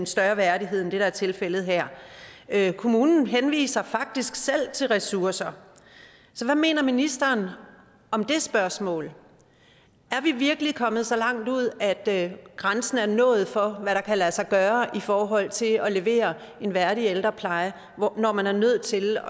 større værdighed end det der er tilfældet her her kommunen henviser faktisk selv til ressourcer hvad mener ministeren om det spørgsmål er vi virkelig kommet så langt ud at grænsen er nået for hvad der kan lade sig gøre i forhold til at levere en værdig ældrepleje når man er nødt til